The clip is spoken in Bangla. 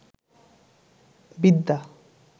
বিদ্যা